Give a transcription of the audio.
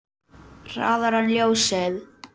Hraðar en ljósið.